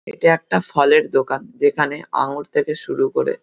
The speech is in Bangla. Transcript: এটা একটা ফলের দোকান যেখানে আঙুর থেকে শুরু করে--